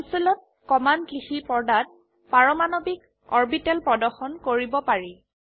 কনসোলত command লিখি পৰ্দাত পাৰমাণবিক অৰবিটেল প্ৰদৰ্শন কৰিব পাৰি